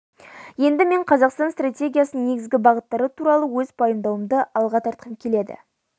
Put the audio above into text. енді мен қазақстан стратегиясының негізгі бағыттары туралы өз пайымдауымды алға тартқым келеді